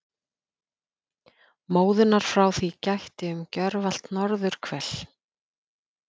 Móðunnar frá því gætti um gjörvallt norðurhvel.